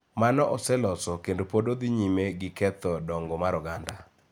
Mano oseloso kendo pod dhi nyime gi ketho dongo mar oganda.